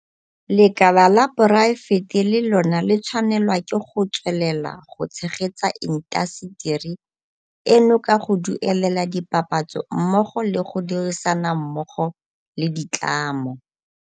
Lekala la poraefete le lona le tshwanelwa ke go tswelela go tshegetsa intaseteri eno ka go duelela dipapatso mmogo le go dirisanammogo le ditlamo